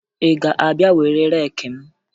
Ị ga-abịa were reeki m?